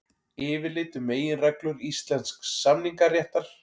Yfirlit um meginreglur íslensks samningaréttar.